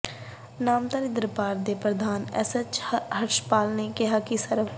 ਨਾਮਧਾਰੀ ਦਰਬਾਰ ਦੇ ਪ੍ਰਧਾਨ ਐੱਚ ਐੱਸ ਹੰਸਪਾਲ ਨੇ ਕਿਹਾ ਕਿ ਸਵ